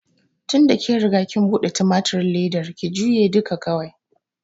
Tinda kin riga kin buɗe tumatirin ledan, ki jure duka kawai!